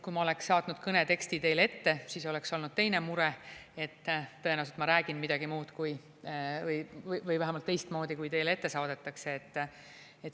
Kui ma oleks saatnud kõne teksti teile ette, siis oleks olnud teine mure, et tõenäoliselt ma räägin midagi muud või vähemalt teistmoodi, kui teile ette saadetakse.